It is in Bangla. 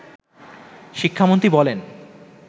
শিক্ষামন্ত্রী বলেন